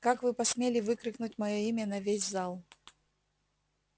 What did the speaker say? как вы посмели выкрикнуть моё имя на весь зал